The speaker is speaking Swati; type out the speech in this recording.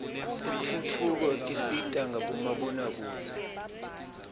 tentfutfuko tisita ngabomabonakudze